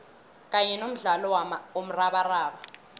kanye nomdlalo womrabaraba